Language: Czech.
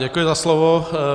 Děkuji za slovo.